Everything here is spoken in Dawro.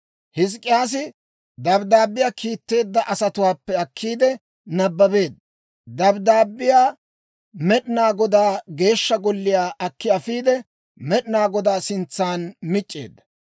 Hizk'k'iyaasi dabddaabbiyaa kiitetteedda asatuwaappe akkiide nabbabeedda. Dabddaabbiyaa Med'inaa Godaa Geeshsha Golliyaa akki afiide, Med'inaa Godaa sintsan mic'c'eedda.